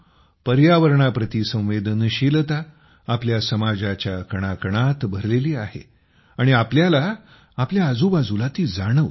पर्यावरणाप्रती संवेदनशीलता आपल्या समाजाच्या कणाकणात भरलेली आहे आणि आपल्याला आपल्या आजूबाजूला ती जाणवते